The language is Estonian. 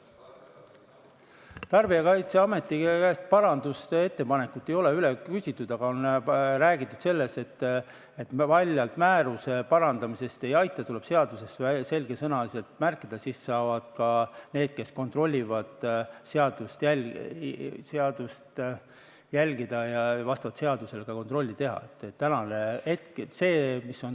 Tarbijakaitseameti käest ei ole parandusettepaneku kohta üle küsitud, aga on räägitud sellest, et paljalt määruse parandamisest ei aita, tuleb seadusesse selgesõnaliselt märkida, siis saavad ka need, kes kontrollivad, seadust järgida ja vastavalt seadusele ka kontrolli teha.